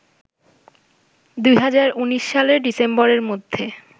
২০১৯ সালের ডিসেম্বরের মধ্যে